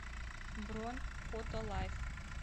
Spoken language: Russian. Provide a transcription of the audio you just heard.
бронь фотолайф